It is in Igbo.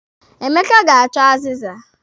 Emeka ga-achọ azịza.